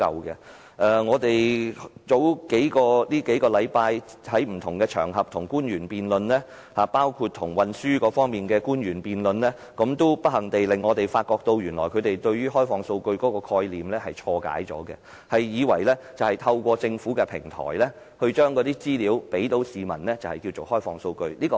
數星期前，我們在不同場合與官員辯論，包括與運輸方面的官員辯論，不幸地，我們發覺他們誤解了開放數據的概念，以為透過政府的平台將資料提供予市民便是開放數據。